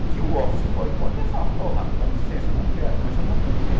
O que o office boy pode é falar, porra, dá licença, não quero, mas eu não cantei.